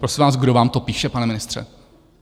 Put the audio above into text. Prosím vás, kdo vám to píše, pane ministře?